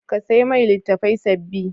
Ka sai mai litattafai sababbi.